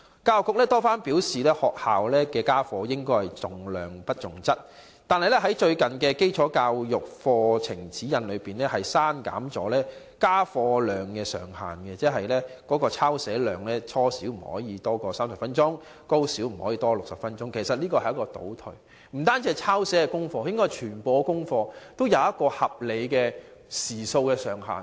教育局多番表示，學校家課應重質不重量，但最近卻在"基礎教育課程指引"中刪去家課量上限，即初小的抄寫量不可多於30分鐘，高小不可多於60分鐘的規定，其實這是倒退的做法。